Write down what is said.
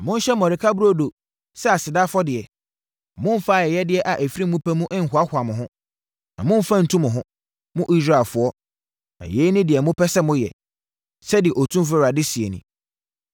Monhye mmɔreka burodo sɛ aseda afɔdeɛ; Momfa ayɛyɛdeɛ a ɛfiri mo pɛ mu nhoahoa mo ho, na momfa ntu mo ho, mo Israelfoɔ, na yei ne deɛ mopɛ sɛ moyɛ,” sɛdeɛ Otumfoɔ Awurade seɛ nie.